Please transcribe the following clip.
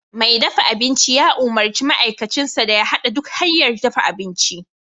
Mai dafa abinci ya umurci ma'aikacinsa da ya hada duk hanyar dafa abinci